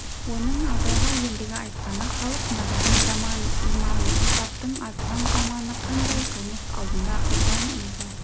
оның абайға ендігі айтқаны халық надан заман иман ынсаптың азған заманы қандай қылмыс алдында ұждан инсаф